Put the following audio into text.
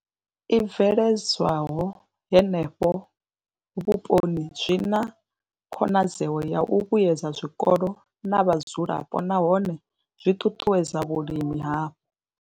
I bveledzwaho henefho vhuponi zwi na khonadzeo ya u vhuedza zwikolo na vhadzulapo nahone zwi ṱuṱuwedza vhulimi hapo.